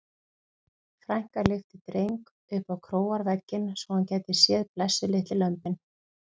Frænka lyfti Dreng upp á króarvegginn svo hann gæti séð blessuð litlu lömbin.